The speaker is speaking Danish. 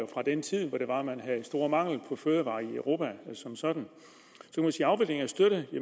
fra den tid hvor man havde stor mangel på fødevarer i europa som sådan